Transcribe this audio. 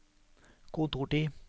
kontortid